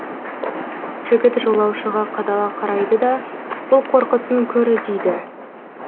жігіт жолаушыға қадала қарайды да бұл қорқыттың көрі дейді